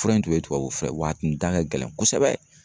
Fura in tun ye tubabu fura ye wa a tun da ka gɛlɛn kosɛbɛ.